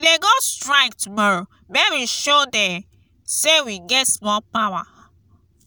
we dey go strike tomorrow make we show de. say we get small power.